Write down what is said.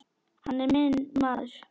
Hann er minn maður.